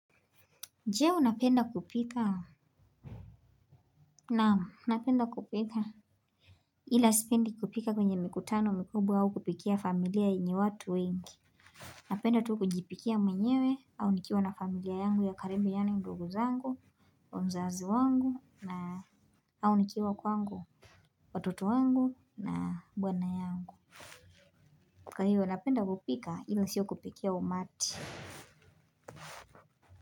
Je unapenda kupika? Naam napenda kupika ila sipendi kupika kwenye mikutano mikubwa au kupikia familia yenye watu wengi napenda tu kujipikia mwenyewe au nikiwa na familia yangu ya karibu yaani ndugu zangu mzazi wangu na au nikiwa kwangu watoto wangu na bwana yangu kwa hiyo napenda kupika ila sio kupikia umati.